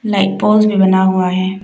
Light poles भी बना हुआ है।